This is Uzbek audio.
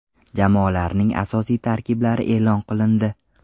Jamoalarning asosiy tarkiblari e’lon qilindi.